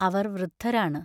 അവർ വൃദ്ധരാണ്.